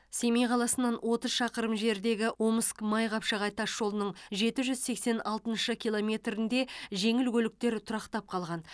семей қаласынан отыз шақырым жердегі омск майқапшағай тасжолының жеті жүз сексен алтыншы километрінде жеңіл көліктер тұрақтап қалған